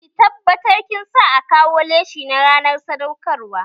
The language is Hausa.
Ki tabbatar kin sa a kawo leshi na ranar sadaukar wa!